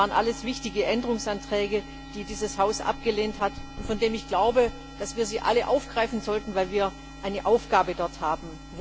Das waren alles wichtige Änderungsanträge, die dieses Haus abgelehnt hat und von denen ich glaube, dass wir sie alle aufgreifen sollten, weil wir dort eine Aufgabe haben.